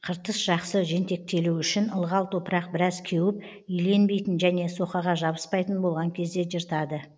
қыртыс жақсы жентектелуі үшін ылғал топырақ біраз кеуіп иленбейтін және соқаға жабыспайтын болған кезде жыртады